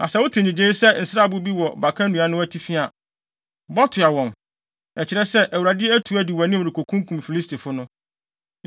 Na sɛ wote nnyigyei te sɛ nsrabɔ bi wɔ baka nnua no atifi a, bɔ toa wɔn! Ɛkyerɛ sɛ, Awurade atu di wʼanim rekokunkum Filistifo no.”